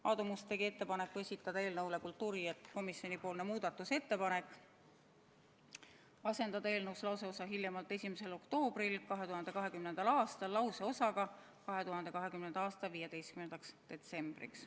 Aadu Must tegi ettepaneku esitada eelnõu kohta kultuurikomisjoni muudatusettepanek: asendada eelnõus lauseosa "hiljemalt 1. oktoobril 2020. aastal" lauseosaga "2020. aasta 15. detsembriks".